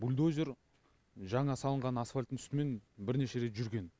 бульдозер жаңа салынған асфальттің үстімен бірнеше рет жүрген